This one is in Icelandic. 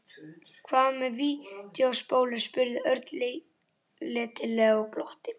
Hvað með vídeóspólur? spurði Örn letilega og glotti.